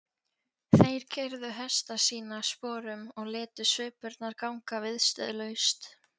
Þeir keyrðu hesta sína sporum og létu svipurnar ganga viðstöðulaust.